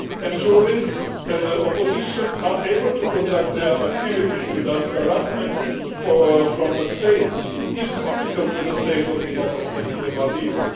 Ensuring that the opposition are able to conduct their activities without harassment by the state is critical to the state of democracy in the Maldives.